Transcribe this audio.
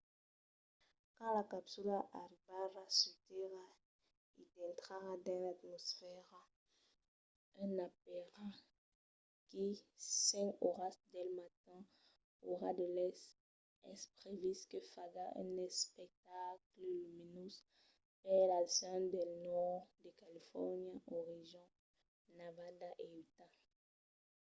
quand la capsula arribarà sus tèrra e dintrarà dins l’atmosfèra a aperaquí 5 oras del matin ora de l'èst es previst que faga un espectacle luminós per las gents del nòrd de califòrnia oregon nevada e utah